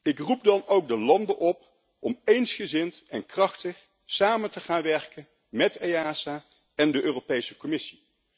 Ik roep de lidstaten dan ook op om eensgezind en krachtig samen te gaan werken met EASA en de Europese Commissie.